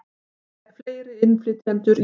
Fleiri innflytjendur í opinber störf